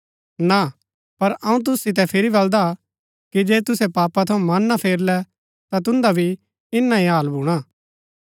ना पर अऊँ तुसु सितै फिरी बल्‍दा कि जे तुसै पापा थऊँ मना ना फेरलै ता तुन्दा भी इन्‍ना ही हाल भूणा